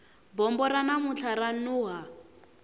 bombo ra namuntlha ra nuha